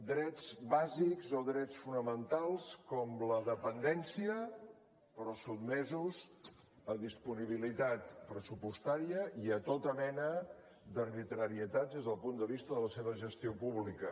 drets bàsics o drets fonamentals com la dependència però sotmesos a disponibilitat pressupostària i a tota mena d’arbitrarietats des del punt de vista de la seva gestió pública